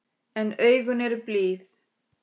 En augun eru blíð.